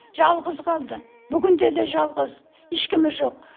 жалғыз қалды бүгінде де жалғыз ешкімі жоқ